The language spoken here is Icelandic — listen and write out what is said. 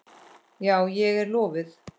Já, ég er lofuð.